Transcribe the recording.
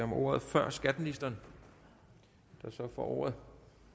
om ordet før skatteministeren der så får ordet